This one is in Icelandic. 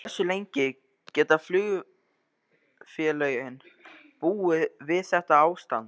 En hversu lengi geta flugfélögin búið við þetta ástand?